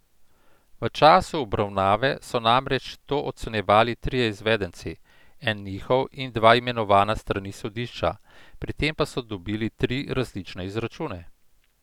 V času obravnave so namreč to ocenjevali trije izvedenci, en njihov in dva imenovana s strani sodišča, pri tem pa so dobili tri različne izračune.